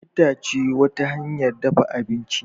itace wata hanyar dafa abinci